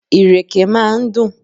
Ìrèké máa ń dùn.